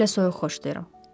Mən elə soyuq xoşlayıram.